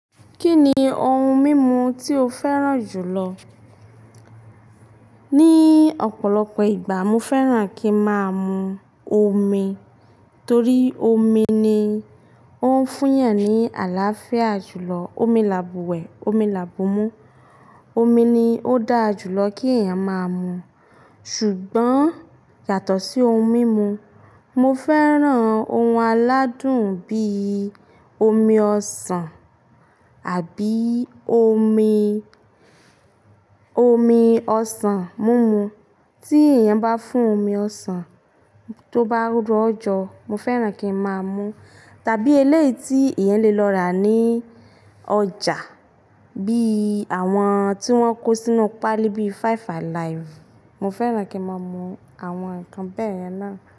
Kí ni ohun mímu tí o fẹ́ràn jù lọ? Ní ọ̀pọ̀lọpọ̀ ìgbà mo fẹ́ràn kí ń máa mu omi torí omi ni ó ń fún èèyàn ní àlàáfíà jù lọ. Omi làbùwẹ̀, omi làbùmú, omi ni ó dáa jù lọ kí èèyàn máa mu. Ṣùgbọ́n yàtọ̀ sí ohun mímu, mo fẹ́ràn ohun aládùn bí i omi ọsàn àbí omi, omi ọsàn mímu. Tí èèyàn bá fún omi ọsàn tó bá ró ọjọ́, mo fẹ́ràn kí ń máa mú tàbí eléyìí tí èèyàn lè lọ rà ní ọjà bí i àwọn tí wọ́n kó sínú páálí bí i Five Alive, mo fẹ́ràn kí ń máa mú àwọn nǹkan bẹ́yẹn náà.